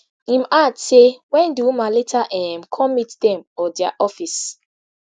im add say wen di woman later um come meet dem or dia office